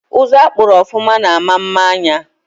Uzu akpuru ofụma na ama mma anya